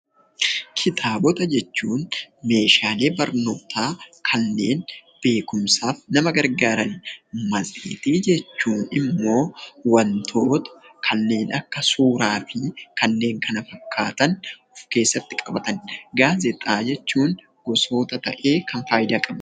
Kitaabota jechuun meeshaalee barnootaa kanneen beekumsaaf nama gargaaranii dha. Matseetii jechuun immoo wantoota kanneen akka suuraa fi kanneen kana fakkaatan kan of keessatti qabataniidha. Gaazexaawwan immoo gosoota ta'ee kan faayidaa qabuu dha.